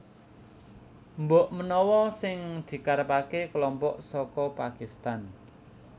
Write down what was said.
Mbok menawa sing dikarepaké kelompok saka Pakistan